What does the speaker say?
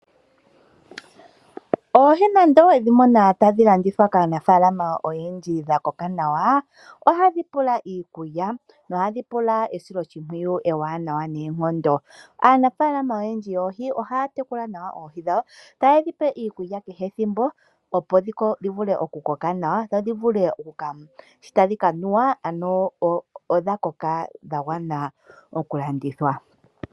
Oohi nande owedhimono tadhi landithwa kaanafaalama oyendji dhakoka nawa ,Ohadhi pula iikulya nohadhi pula esiloshipwiyu ewanawa noonkondo. Aanafaalama oyendji yoohi ohaya tekula nawa oohi dhawo tayedhi pe iikulya kehe ethimbo opo dhivule oku koka nawa odha koka dhagwana oku landitha.